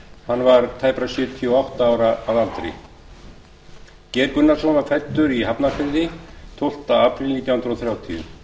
hann var tæpra sjötíu og átta ára að aldri geir gunnarsson var fæddur í hafnarfirði tólfta árið nítján hundruð þrjátíu